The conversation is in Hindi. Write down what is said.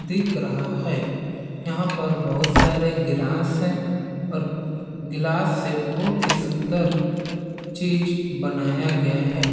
दिख रहा है यहाँ पर बहुत सारे गिलास है और गिलास से बहुत ही सुन्दर चीज़ बनाया गया है।